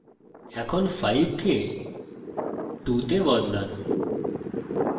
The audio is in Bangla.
এখন 5 কে 2 তে বদলান